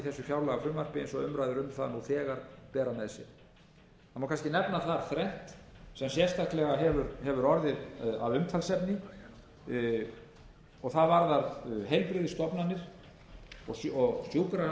nú þegar bera með sér það má kannski nefna það þrennt sem sérstaklega hefur orðið að umtalsefni og það varðar heilbrigðisstofnanir og rekstur sjúkrasviða ýmissa minni heilbrigðisstofnana bæði á landsbyggðinni og hér á suðvesturhorninu það er alveg ljóst